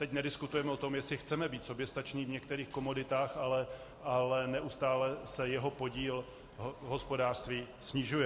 Teď nediskutujeme o tom, jestli chceme být soběstační v některých komoditách, ale neustále se jeho podíl v hospodářství snižuje.